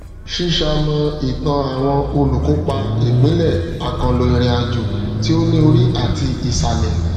ṣíṣamọ ìtàn àwọn olùkópa ìpínlẹ àkànlò ìrìnàjò tí ó ní orí àti ìsàlẹ